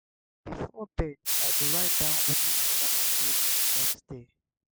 before bed i go write down wetin i wan achieve the next day.